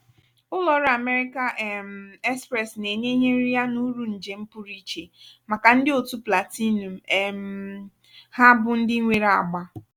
ụlọ ọrụ amerika um express na-enye ihe nriya na uru njem pụrụ iche màkà ndị otu platinum um ha bụ ndị nwere agba.